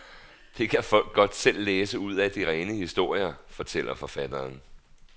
Det kan folk godt selv læse ud af de rene historier, fortæller forfatteren.